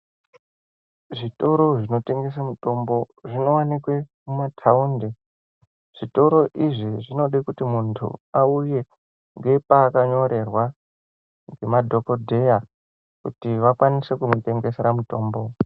Zvitoro zvinotengese mitombo, zvinowanikwe mumatawundi. Zvitoro izvi zvinode kuti muntu awuye ngepaakanyorerwa ngemadhokodheya kuti vakwanise kumutengesera mutombo.